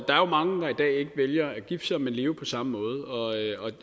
er jo mange der i dag ikke vælger at gifte sig men lever på samme måde